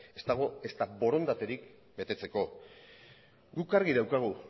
ez dagoen ezta betetzeko borondaterik guk argi daukagu